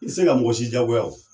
I tɛ se ka mɔgɔsi jaagoya o.